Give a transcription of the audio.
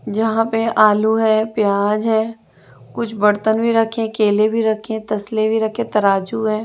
जहां पे आलू है प्याज है कुछ बर्तन भी रखे केले भी रखें तस्ले भी रखे तराजू है।